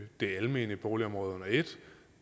det almene boligområde under et